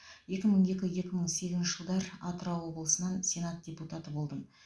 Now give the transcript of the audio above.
екі мың екі екі мың сегізінші жылдар атырау облысынан сенат депутаты болдым